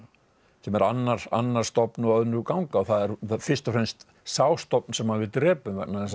sem er annar annar stofn og önnur ganga það er fyrst og fremst sá stofn sem við drepum vegna þess að